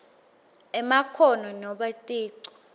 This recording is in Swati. emakhono nobe ticu